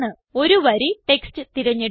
ഒരു വരി ടെക്സ്റ്റ് തിരഞ്ഞെടുക്കുക